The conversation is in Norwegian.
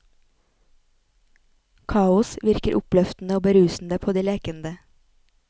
Kaos virker oppløftende og berusende på de lekende.